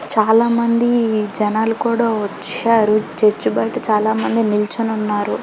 చాలా మంది జనాలు కూడా వచ్చారు చర్చి బైట చాలామంది నిల్చొని ఉన్నారు .